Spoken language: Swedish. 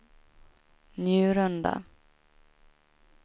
Njurunda